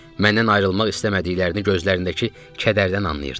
Məndən ayrılmaq istəmədiklərini gözlərindəki kədərdən anlayırdım.